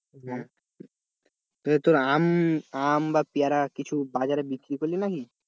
আম, আম বা পেয়ারা কিছু বাজার বিক্রি করলি নাকি?